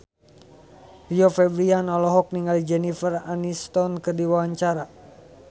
Rio Febrian olohok ningali Jennifer Aniston keur diwawancara